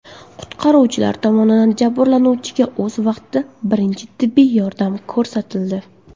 Qutqaruvchilar tomonidan jabrlanuvchiga o‘z vaqtida birinchi tibbiy yordam ko‘rsatildi.